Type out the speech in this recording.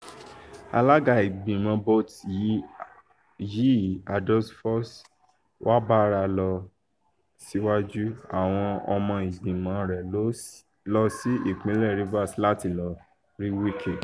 alága ìgbìmọ̀ bôte yìí adolphus wabara lọ síwájú àwọn ọmọ ìgbìmọ̀ rẹ̀ lọ sí ìpínlẹ̀ rivers láti lọ́ọ́ rí wike